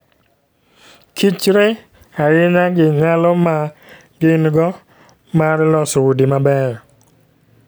Kichre ahinya gi nyalo ma gin-go mar loso udi mabeyo.